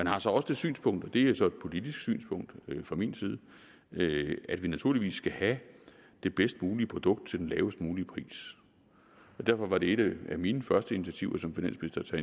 har så også det synspunkt og det er så et politisk synspunkt fra min side at vi naturligvis skal have det bedst mulige produkt til den lavest mulige pris derfor var det et af mine første initiativer som finansminister